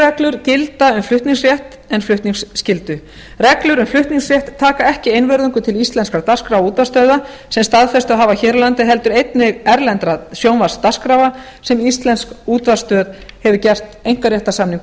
reglur gilda um flutningsrétt en flutningsskyldu reglur um flutningsrétt taka ekki einvörðungu til íslenskrar dagskrár útvarpsstöðva sem staðfestu hafa hér á landi heldur einnig erlendra sjónvarpsdagskráa sem íslensk útvarpsstöð hefur gert einkaréttarsamning